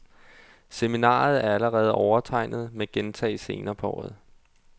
Seminaret er allerede overtegnet, men gentages senere på året.